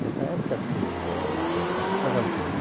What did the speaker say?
Nessa época, todos os jovens, todas as pessoas, casavam com